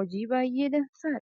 Hojii baayyee dansaadha.